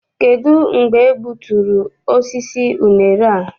Kedụ mgbe e gbuturu osisi unere a?